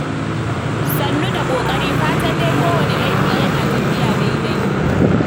Sannu da ƙoƙari, fatan dai kowane aiki yana tafiya daidai?